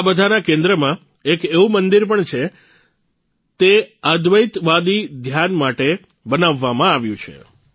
આ બધાના કેન્દ્રમાં એક એવું મંદિર પણ છે તે અદ્વૈતવાદી ધ્યાન માટે બનાવવામાં આવ્યું છે